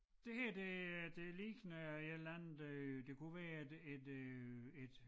Det her det øh det ligner et eller andet øh det kunne være et et øh et